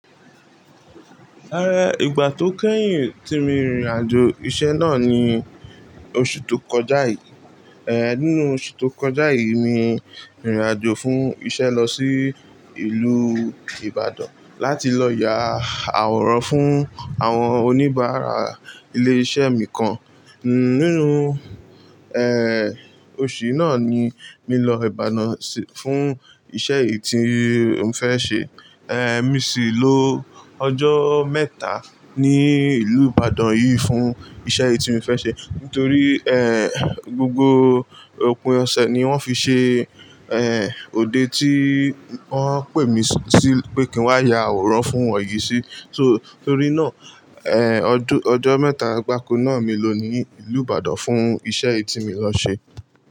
Ìgbà tó kẹ́yìn tí mo rìnrìn àjò iṣẹ́ náà ni oṣù tó kọjá yìí. Nínú oṣù tó kọjá yìí ni, mo rìnrìn àjò fún iṣẹ́ lọ sí ìlú Ìbàdàn, láti lọ ya àwòrán fún àwọn oníbàárà ilé iṣẹ́ mìkan. Nínú, oṣù náà ni mi lọ Ìbàdàn fún iṣẹ́ yìí tí n fẹ́ ṣe. Mo sì lo ọjọ́ mẹ́ta ní ìlú Ìbàdàn yìí fún iṣẹ́ yìí tí n fẹ́ ṣe. Nítorí, gbogbo òpin ọ̀sẹ̀ ni wọ́n fi ṣe òde tí wọ́n pè mí sí, pé kí n wá ya àwòrán fún wọn yìí sí. Nítorí náà, ọjọ́ mẹ́ta gbáko náà molò ní ìlú Ìbàdàn fún iṣẹ́ yìí tí mi lọ ṣe.